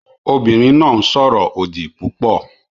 Obìnrin náà ń sọ̀rọ̀ òdì púpọ̀